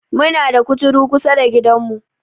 Muna da kuturu kusada gidan mu